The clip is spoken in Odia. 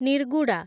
ନିର୍ଗୁଡା